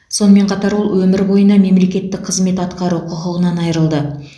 сонымен қатар ол өмір бойына мемлекеттік қызмет атқару құқығынан айырылды